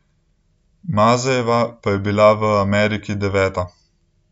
Mazejeva pa je bila v Ameriki deveta.